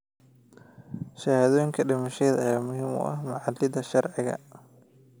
Shahaadooyinka dhimashada ayaa muhiim u ah macaamilada sharciga ah.